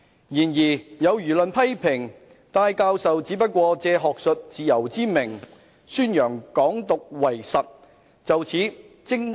然而有輿論批評，戴教授只不過借學術自由之名，宣揚港獨為實。